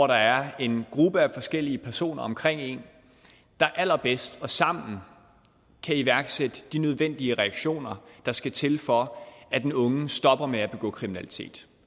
der er en gruppe af forskellige personer omkring en der allerbedst og sammen kan iværksætte de nødvendige reaktioner der skal til for at den unge stopper med at begå kriminalitet